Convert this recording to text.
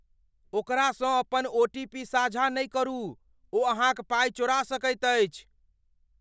ओकरासँ अपन ओटीपी साझा नहि करू। ओ अहाँक पाई चोरा सकैत अछि।